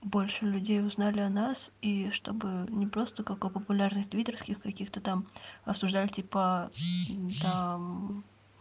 больше людей узнали о нас и чтобы не просто какой популярных твиттерских каких-то там обсуждали типа там